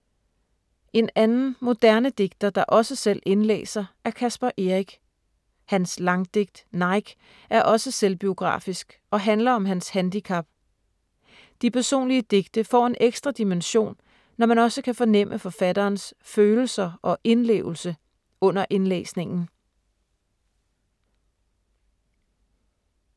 En anden moderne digter, der også selv indlæser, er Caspar Eric. Hans langdigt Nike er også selvbiografisk og handler om hans handicap. De personlige digte får en ekstra dimension, når man også kan fornemme forfatterens følelser og indlevelse under indlæsningen.